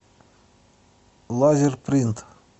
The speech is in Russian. лазерпринт